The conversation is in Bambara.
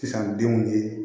Sisan denw ni